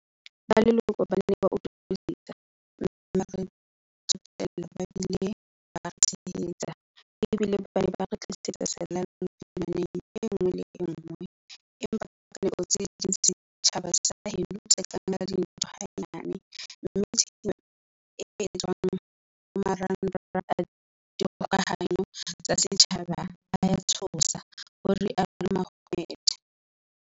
Ba leloko ba ne ba utlwisisa, mme ba re tsotella ba bile ba re tshehetsa, ebile ba ne ba re tlisetsa selallo phirimaneng enngwe le enngwe, empa ka dinako tse ding setjhaba sa heno se ka nka dintho ha-nyane mme tshenyo e etswang ho marangrang a dikgoka-hano tsa setjhaba ea tshosa, ho rialo Mohammed.